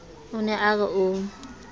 o ne a re o